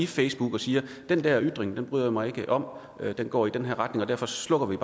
facebook og siger den der ytring bryder jeg mig ikke om den går i retning og derfor slukker vi